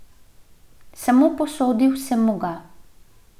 Samo posodil sem mu ga.